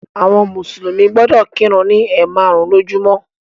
Àwọn mùsùlùmí gbọdọ̀ kírun ni ẹ̀maarun lójúmó.